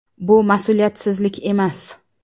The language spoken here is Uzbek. Bu mas’uliyatsizlik emas.